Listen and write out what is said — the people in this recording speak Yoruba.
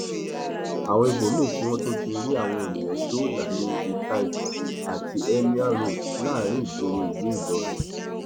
àwọn ibòmíín tí wọn tún ti rí àwọn èèyàn dóòlà ní ítaigba àti emirs road láàrin ìgboro ìlú ìlọrin